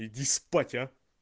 иди спать а